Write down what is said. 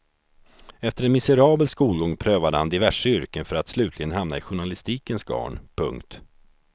Efter en miserabel skolgång prövade han diverse yrken för att slutligen hamna i journalistikens garn. punkt